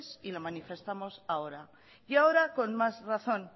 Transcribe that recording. y lo manifestamos en ahora y ahora con más razón